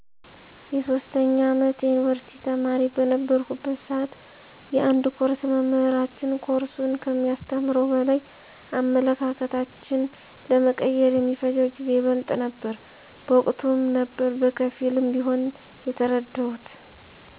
የ3ኛ አመት የዩኒቭርሲቲ ተማሪ በነበረሁበት ስዓት የአንድ ኮርስ መምህራችን ኮርሱን ከሚያስተምረው በላይ አመለካከታችን ለመቀየር የሚፈጀው ጊዜ ይበልጥ ነበረ። በወቅቱም ነበር በከፊልም ቢሆን የተረደሁት።